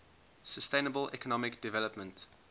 sustainable economic development